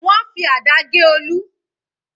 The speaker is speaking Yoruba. Wọ́n fi àdá gé Olu.